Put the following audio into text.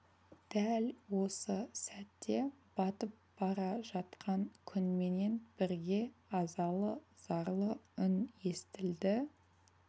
дәл осы сәтте батып бара жатқан күнменен бірге азалы зарлы үн естілді